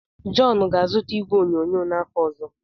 John ga-azụta igwe onyonyo n'afọ ọzọ.